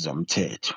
zemithetho."